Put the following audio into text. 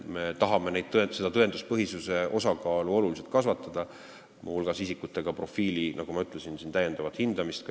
Me tahame tõenduspõhisuse osakaalu oluliselt kasvatada, muu hulgas kasutada isikute profiili, nagu ma ütlesin, täiendavat hindamist.